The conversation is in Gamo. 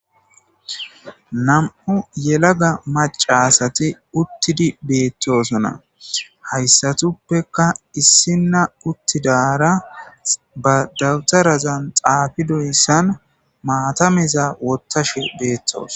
nam7u yelaga macasati uttidi beettosona hayssatuppeka issina uttidara ba dawutarazan xaafidoyssan maatameza wottashe beettos